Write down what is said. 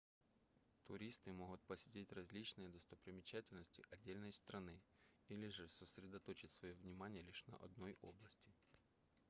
туристы могут посетить различные достопримечательности отдельной страны или же сосредоточить своё внимание лишь на одной области